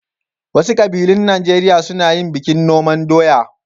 Wasu ƙabilun Najeriya suna yin bikin noman doya.